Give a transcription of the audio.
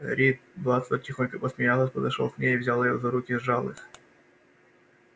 ретт батлер тихонько посмеиваясь подошёл к ней и взяв её за руки сжал их